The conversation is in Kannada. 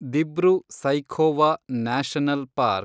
Dibru-Saikhowa national park